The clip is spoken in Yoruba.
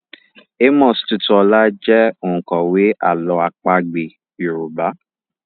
Amos Tutuola jẹ́ òǹkọ̀wé àlọ́ àpagbé Yorùbá.